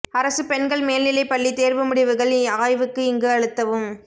அரசு பெண்கள் மேல்நிலை பள்ளி தேர்வு முடிவுகள் ஆய்வுக்கு இங்கு அழுத்தவும்